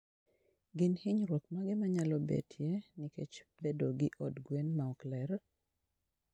Gin hinyruok mage manyalo betie nikech bedo gi od gwen maok ler?